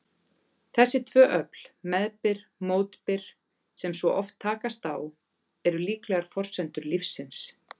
Þessi tvö öfl, meðbyr-mótbyr, sem svo oft takast á, eru líklega forsendur lífsins.